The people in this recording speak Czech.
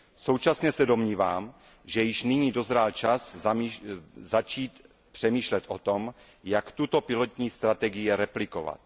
Současně se domnívám, že již nyní dozrál čas začít přemýšlet o tom, jak tuto pilotní strategii replikovat.